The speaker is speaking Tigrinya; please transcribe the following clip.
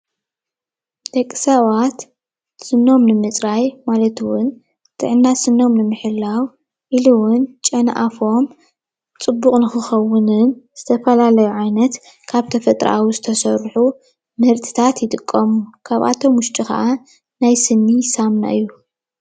ደቂ ሰባት ስኖም ንምፅራይ ማለት እውን ጥዕና ስኖም ንምሕላው ኢሉ እውን ጨና ኣፎም ፅቡቅ ንክከውንን ዝተፈላለዩ ዓይነት ካብ ተፈጥራኣዊ ዝተሰርሑ ምህርትታት ይጥቀሙ፡፡ ካብኣቶም ውሽጢ ከዓ ናይ ስኒ ሳምና እዩ፡፡